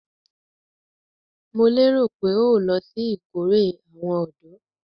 Mo lérò pé o lọ sí ìkórè àwọn ọ̀dọ́?